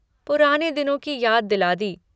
पुराने दिनों की याद दिला दी।